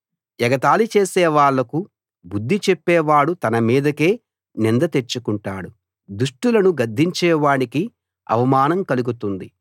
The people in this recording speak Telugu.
ఎగతాళి చేసేవాళ్ళకు బుద్ధి చెప్పేవాడు తన మీదకే నింద తెచ్చుకుంటాడు దుష్టులను గద్దించే వాడికి అవమానం కలుగుతుంది